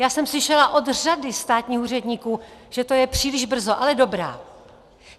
Já jsem slyšela od řady státních úředníků, že to je příliš brzo, ale dobrá.